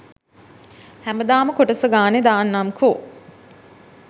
හැමදාම කොටස ගානේ දාන්නම්කෝ